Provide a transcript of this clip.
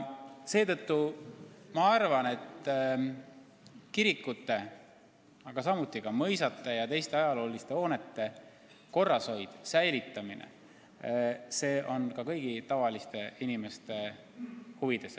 Seetõttu ma arvan, et kirikute, samuti ka mõisate ja teiste ajalooliste hoonete korrashoid ja säilitamine on ka kõigi tavaliste inimeste huvides.